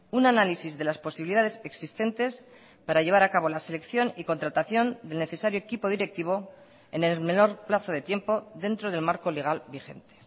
un análisis de las posibilidades existentes para llevar a cabo la selección y contratación del necesario equipo directivo en el menor plazo de tiempo dentro del marco legal vigente